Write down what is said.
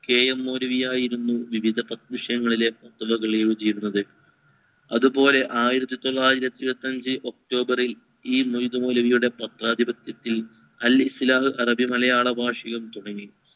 K. M Maulavi ആയിരുന്നു വിവിധ വിഷയങ്ങളിലെ അതുപോലെ ആയിരത്തിതൊള്ളായിരത്തി ഇരുവത്തി അഞ്ചിൽ october ഇൽ ഈ ഇതുപോലെ പത്രാധിപത്യത്തിൽ അൽ ഇസ്ലാഹ് അറബി മലയാള ഭാഷയും തുടങ്ങി